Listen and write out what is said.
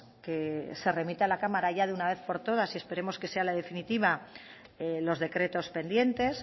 que se remita a la cámara de una vez por todas y esperemos que sea la definitiva los decretos pendientes